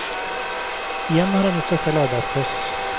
Igjen har han gjort seg selv arbeidsløs.